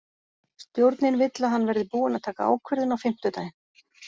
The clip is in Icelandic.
Stjórnin vill að hann verði búinn að taka ákvörðun á fimmtudaginn.